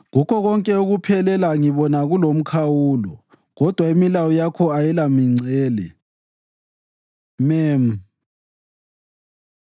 Kukho konke ukuphelela ngibona kulomkhawulo; kodwa imilayo yakho ayilamingcele. מ Mem